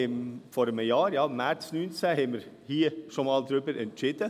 Wir haben vor einem Jahr, im März 2019, hier schon einmal darüber entschieden.